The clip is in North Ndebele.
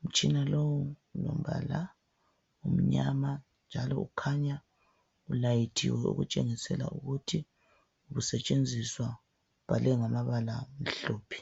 Umtshina lowu ulombala omnyama njalo ukhanya ulayithiwe okutshengisela ukuthi ukusetshenziswa, ubhalwe ngamabala amhlophe.